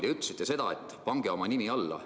Te ütlesite, et pange oma nimi alla.